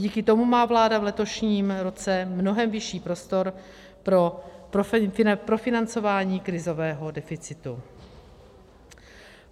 Díky tomu má vláda v letošním roce mnohem vyšší prostor pro profinancování krizového deficitu.